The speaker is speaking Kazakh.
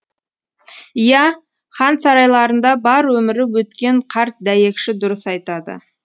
иә хан сарайларында бар өмірі өткен қарт дәйекші дұрыс айтады